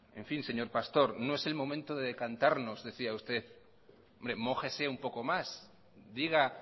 señor pastor no es el momento de decantarnos decía usted hombre mójese un poco más diga